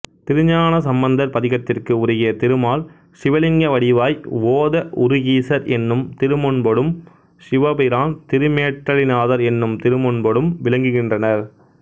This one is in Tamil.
திருஞானசம்பந்தர் பதிகத்திற்கு உருகிய திருமால் சிவலிங்கவடிவாய் ஓதஉருகீசர் என்னும் திருமுன்பொடும் சிவபிரான் திருமேற்றளிநாதர் என்னும் திருமுன்பொடும் விளங்குகின்றனர்